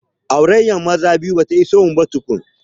Aurayyan maza biyu bata iso mu ba tukun